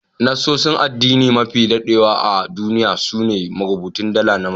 Nassosin addini mafi dadewa a duniya su ne rubutun dala na Masar.